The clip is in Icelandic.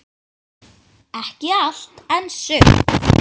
Ekki allt, en sumt.